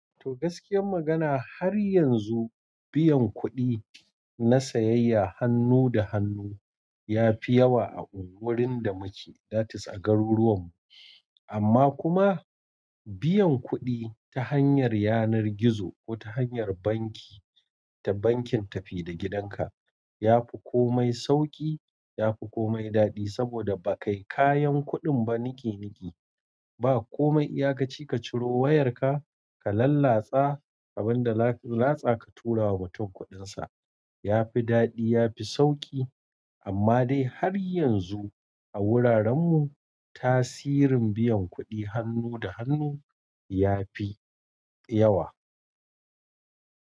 To, gaskiyar magana har yanzu biyan kuɗi na sayayya hannu da hannu ya fi yawa a wurin da muke, that is a garuruwan mu. Amma kuma biyan kuɗi ta hanyar yanar gizo ko ta hanyar banki, ta bankin tafi da gidanka ya fi komai sauƙi, ya fi komai daɗi saboda ba kai kayan kuɗin ba niki niki. Ba komai iyakaci ka ciro wayarka ka lallatsa abin da latsa ka tura wa mutum kuɗinsa. Ya fi daɗi, ya fi sauƙi. Amma dai har yanzu a wuraren mu tasirin biyan kuɗi hannu da hannu ya fi yawa.